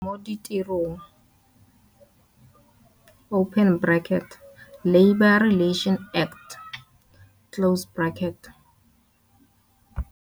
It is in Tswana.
Molao wa Kamano mo Ditirong Labour Relations Act.